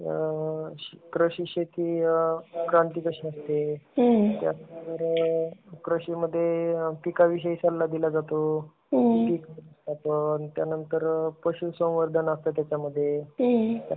कृषी शेती, क्रांती कशी असते? त्यानंतर कृषी मध्ये पीक विषयी सल्ला दिला जातो. त्यानंतर पशुसंवर्धन असता त्यामध्ये.